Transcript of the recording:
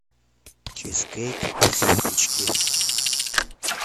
чизкейк из выпечки